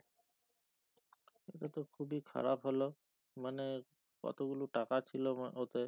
এটাতো খুব ই খারাপ হোলো মানে কতগুলো টাকা ছিলো ও ওতে